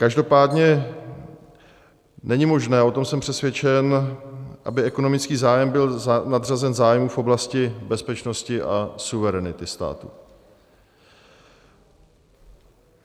Každopádně není možné, o tom jsem přesvědčen, aby ekonomický zájem byl nadřazen zájmu v oblasti bezpečnosti a suverenity státu.